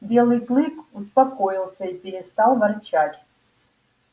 белый клык успокоился и перестал ворчать